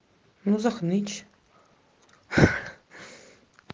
ну захнычь